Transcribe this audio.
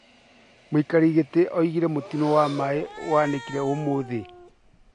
Mũikarĩri gĩtĩ augire mũtino wa maaĩ nĩ ũhanĩkire ũmũthĩ